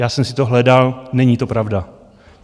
Já jsem si to hledal, není to pravda.